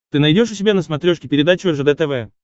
ты найдешь у себя на смотрешке передачу ржд тв